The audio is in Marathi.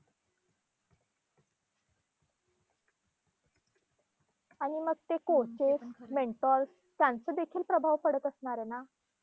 आणि मग ते coaches, mentors त्यांचं देखील प्रभाव पडत असणारे ना?